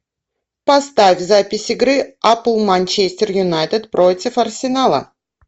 поставь запись игры апл манчестер юнайтед против арсенала